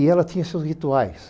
E ela tinha seus rituais.